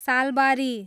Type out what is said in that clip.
Salbari